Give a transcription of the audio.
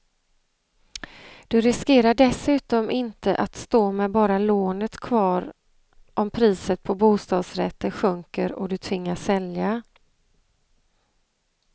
Du riskerar dessutom inte att stå med bara lånet kvar om priset på bostadsrätter sjunker och du tvingas sälja.